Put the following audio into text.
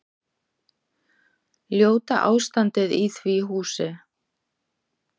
Ljóta ástandið í því húsi.